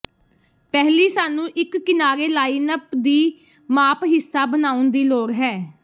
ਪਹਿਲੀ ਸਾਨੂੰ ਇੱਕ ਕਿਨਾਰੇ ਲਾਈਨਅੱਪ ਦੀ ਮਾਪ ਹਿੱਸਾ ਬਣਾਉਣ ਦੀ ਲੋੜ ਹੈ